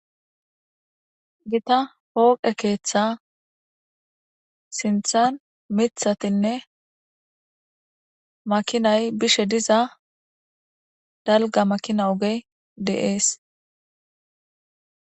Gita hooqe keeththa sinthan mithatinne makinay bishe diza dalga makina oge deees.